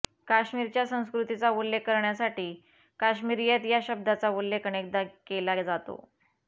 काश्मीरच्या संस्कृतीचा उल्लेख करण्यासाठी काश्मिरीयत या शब्दाचा उल्लेख अनेकदा केला जातो